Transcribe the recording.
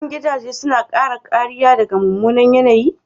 Shin gidaje suna kare kariya daga mummunan yanayi?